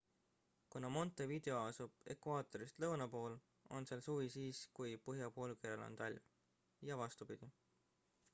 kuna montevideo asub ekvaatorist lõuna pool on seal suvi siis kui põhjapoolkeral on talv ja vastupidi